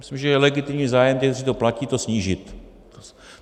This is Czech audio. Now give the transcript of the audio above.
Myslím, že je legitimní zájem těch, kteří to platí, to snížit.